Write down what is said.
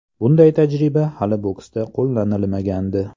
Bunday tajriba hali boksda qo‘llanilmagandi.